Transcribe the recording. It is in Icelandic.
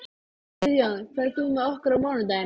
En við spyrjum hvað segja Álftnesingar við því?